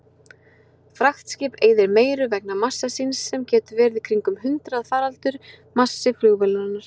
Fraktskip eyðir meiru vegna massa síns sem getur verið kringum hundraðfaldur massi flugvélarinnar.